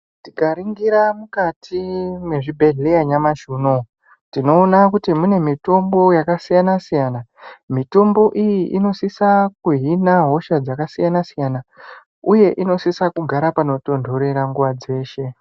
Tikaringira mukati mwezvibhedhleya nyamashi unouwu tinoona kuti mune mitombo iyi inosisa kuhina hosha dzakasiyanasiyana uye inosisa kugara panotontorera nguwa dzeshe.